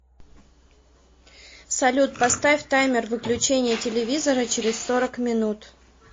салют поставь таймер выключения телевизора через сорок минут